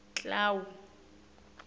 clau